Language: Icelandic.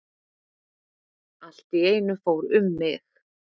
Allt í einu fór um mig.